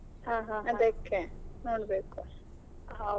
ಹಾ ಹಾ ಹಾ.